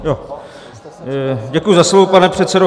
Děkuji za slovo, pane předsedo.